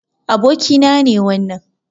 Abokina ne wannan.